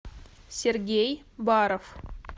сергей баров